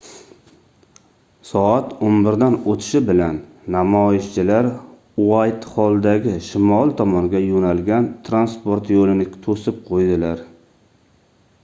soat 11:00 dan oʻtishi bilan namoyishchilar uaytxolldagi shimol tomonga yoʻnalgan transport yoʻlini toʻsib qoʻydilar